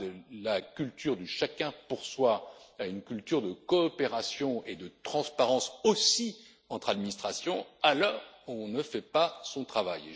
pas de la culture du chacun pour soi à une culture de coopération et de transparence, aussi entre administrations, alors on ne fait pas son travail.